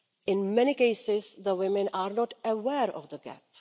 In many cases, the women are not aware of the gap.